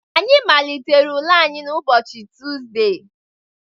Anyị malitere ule anyị n' ụbọchị Tuzdee